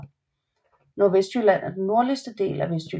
Nordvestjylland er den nordlige del af Vestjylland